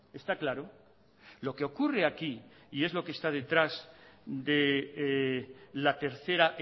está claro lo que ocurre aquí y es lo que está detrás de la tercera